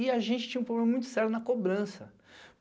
E a gente tinha um problema muito sério na cobrança.